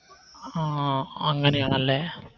ആ അങ്ങനെയാണല്ലേ